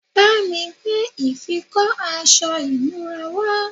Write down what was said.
bámi gbé ìfikọ́ aṣọ ìnura wá